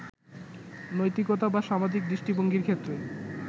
নৈতিকতা বা সামাজিক দৃষ্টিভঙ্গির ক্ষেত্রে